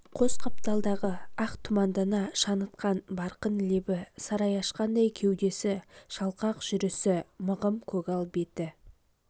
қос қапталдағы ақ тұмандана шаңытқан барқын лебі сарай ашқандай кеудесі шалқақ жүрісі мығым көгал беті